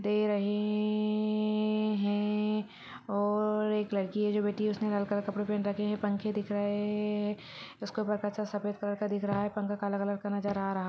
दे रहे-रहे-रहे-रहे हैं और-और एक लड़की है जो बैठी है उसने लड़का का कपड़ा पहन रखे हैं पंखे दिख रहे-रहे-रहे हैं उसके ऊपर कच्चा सफेद कलर का दिख रहा है पंखा काला कलर का नजर आ रहा--